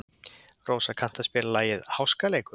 Rósa, kanntu að spila lagið „Háskaleikur“?